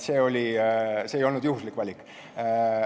See ei olnud juhuslik valik.